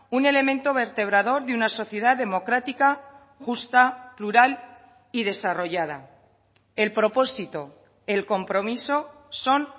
un elemento vertebrador de una sociedad democrática justa plural y desarrollada el propósito el compromiso son